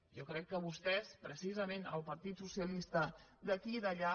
jo crec que vostès precisament el partit socialista d’aquí i d’allà